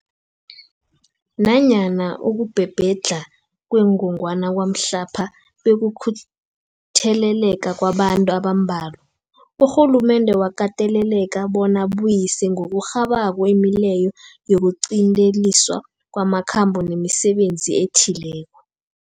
Nanyana ukubhebhedlha kwengogwana kwamhlapha bekukutheleleka kwabantu abambalwa, urhulumende wakateleleka bona abuyise ngokurhabako imileyo yokuqinteliswa kwamakhambo nemisebenzi ethileko.